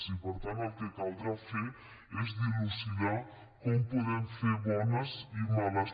i per tant el que caldrà fer és dilucidar com podem fer bones i males